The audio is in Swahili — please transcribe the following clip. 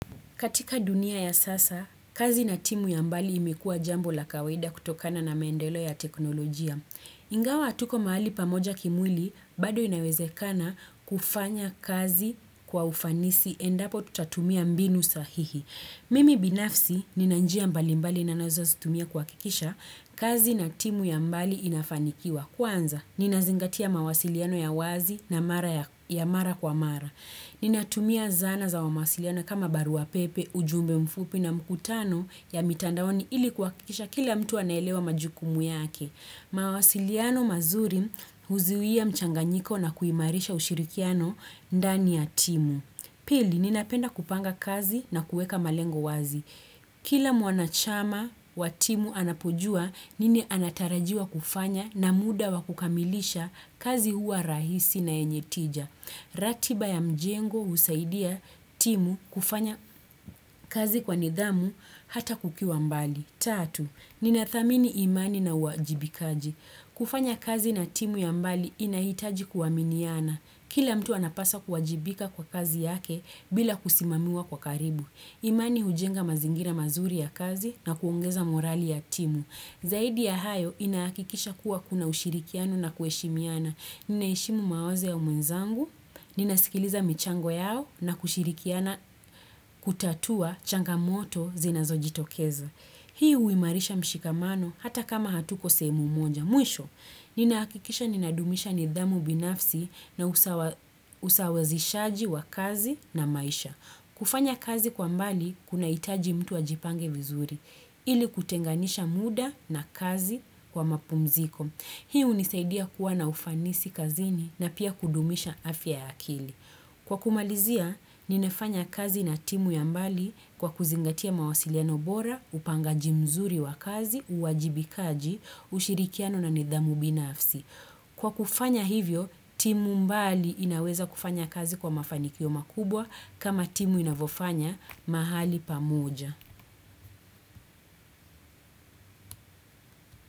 Katika dunia ya sasa, kazi na timu ya mbali imekuwa jambo la kawaida kutokana na maendelo ya teknolojia. Ingawa hatuko mahali pamoja kimwili, bado inawezekana kufanya kazi kwa ufanisi endapo tutatumia mbinu sahihi. Mimi binafsi, ninanjia mbali mbali ninazozitumia kuhakikisha, kazi na timu ya mbali inafanikiwa. Kwanza, ninazingatia mawasiliano ya wazi ya mara kwa mara. Ninatumia zana za wa mawasiliano kama barua pepe, ujumbe mfupi na mkutano ya mitandaoni ili kuhakikisha kila mtu anaelewa majukumu yake. Mawasiliano mazuri huzuia mchanganyiko na kuimarisha ushirikiano ndani ya timu. Pili ninapenda kupanga kazi na kuweka malengo wazi. Kila mwanachama wa timu anapojua nini anatarajiwa kufanya na muda wa kukamilisha kazi huwa rahisi na yenye tija. Ratiba ya mjengo husaidia timu kufanya kazi kwa nidhamu hata kukiwa mbali Tatu, ninathamini imani na uwajibikaji kufanya kazi na timu ya mbali inahitaji kuaminiana Kila mtu anapaswa kuwajibika kwa kazi yake bila kusimamiwa kwa karibu imani hujenga mazingira mazuri ya kazi na kuongeza morali ya timu Zaidi ya hayo inahakikisha kuwa kuna ushirikiano na kuheshimiana Ninaheshimu mawazo ya mwenzangu, ninasikiliza michango yao na kushirikiana kutatua changamoto zinazo jitokeza. Hii huimarisha mshikamano hata kama hatuko sehemu moja. Mwisho, ninahakikisha ninadumisha nidhamu binafsi na usawazishaji wa kazi na maisha. Kufanya kazi kwa mbali kuna hitaji mtu ajipange vizuri. Ili kutenganisha muda na kazi kwa mapumziko. Hii hunisaidia kuwa na ufanisi kazini na pia kudumisha afya ya akili. Kwa kumalizia, ninafanya kazi na timu ya mbali kwa kuzingatia mawasiliano bora, upangaji mzuri wa kazi, uwajibikaji, ushirikiano na nidhamu binafsi. Kwa kufanya hivyo, timu mbali inaweza kufanya kazi kwa mafanikio makubwa kama timu inavofanya mahali pamoja.